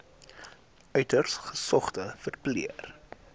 uiters gesogde verpleër